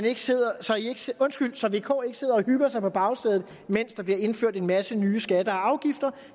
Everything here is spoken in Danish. ikke sidder og hygger sig på bagsædet mens der bliver indført en masse nye skatter og afgifter